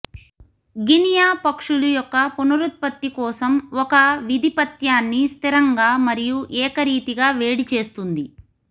Guinea పక్షులు యొక్క పునరుత్పత్తి కోసం ఒక విధిపత్యాన్ని స్థిరంగా మరియు ఏకరీతిగా వేడి చేస్తుంది